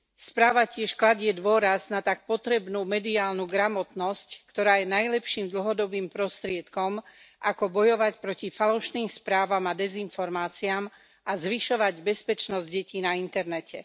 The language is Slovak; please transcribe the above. Správa tiež kladie dôraz na tak potrebnú mediálnu gramotnosť, ktorá je najlepším dlhodobým prostriedkom, ako bojovať proti falošným správam a dezinformáciám a zvyšovať bezpečnosť detí na internete.